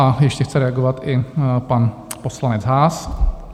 A ještě chce reagovat i pan poslanec Haas?